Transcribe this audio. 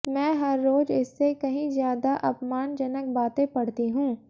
मैं हर रोज इससे कहीं ज्यादा अपमानजनक बातें पढ़ती हूं